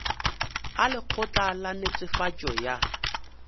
a lekgotla la netefatšo ya